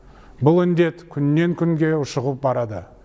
бұл індет күннен күнге ушығып барады